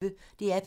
DR P1